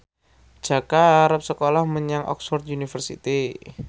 Jaka arep sekolah menyang Oxford university